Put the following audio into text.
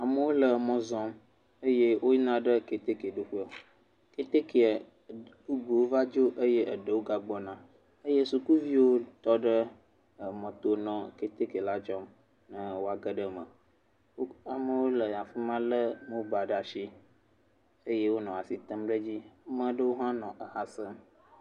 Amewo le mɔ zɔm eye woyina ɖe keteke ɖo ƒe. Ketekea bubuwo va dzo eye eɖewo ga gbɔna eye sukuviwo tɔ ɖe emɔ to nɔ keteke la dzɔm ne woage ɖe eme. Amewo le afi ma le mobal ɖe asi eye wo nɔ asi tem ɖe edzi. Ame aɖewo hã nɔ eha sem.